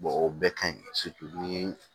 o bɛɛ ka ɲi ni